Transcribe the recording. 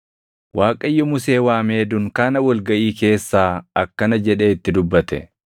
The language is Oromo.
Waaqayyo Musee waamee dunkaana wal gaʼii keessaa akkana jedhee itti dubbate;